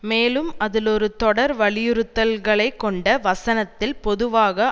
மேலும் அதில் ஒரு தொடர் வலியுறுத்தல்களை கொண்ட வசனத்தில் பொதுவாக